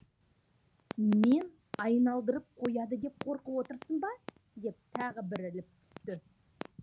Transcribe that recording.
мен айналдырып қояды деп қорқып отырсың ба деп тағы бір іліп түсті